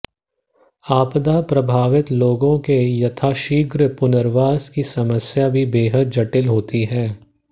आपदा प्रभावित लोगों के यथाशीघ्र पुर्नवास की समस्या भी बेहद जटिल होती है